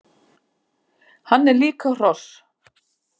Hann er líka hross!